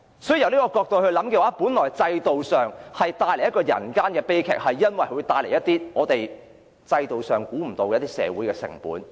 在這個角度而言，制度造成了人間悲劇，因為當中引致了一些制度無法預計的社會成本。